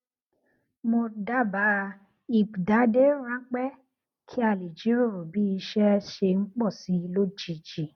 mo dabaa ipdade ranpẹ kí a lè jíròrò bí iṣé ṣe ń pò sí i lójijì